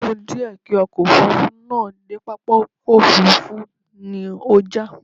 Ó kù díẹ̀ kí ọkọ̀ Òfurufú náà dé pápákọ̀ òfuurufú ni ó já